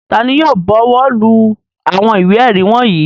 Ta ni yóò bọwọ́lù àwọn ìwé-ẹ̀rí wọ̀nyí?